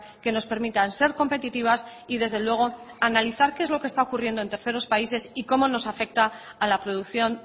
que nos permitan ser competitivas y desde luego analizar qué es lo que está ocurriendo en terceros países y como nos afecta a la producción